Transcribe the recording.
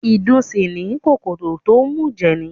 Ìdun sì ni, kòkòrò tó ń mùjẹ̀ ni